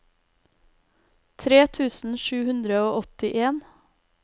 tre tusen sju hundre og åttien